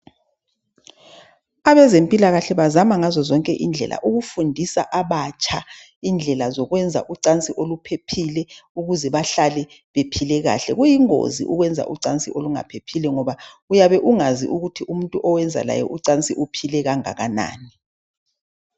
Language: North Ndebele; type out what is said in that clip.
Abezempilakahle bazama ngazozonke indlela ukufundisa abatsha indlela zokwenza ucansi oluphephile Ukuze bahlale bephile kahle. Kuyingozi ukwenza ucansi olungaphephile ngoba uyabe ungazi ukuthi umuntu owenza laye ucansi uphile kangakanani.